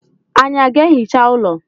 Ànyị ga-ehicha ụlọ?